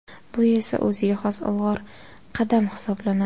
Bu esa o‘ziga xos ilg‘or qadam hisoblanadi.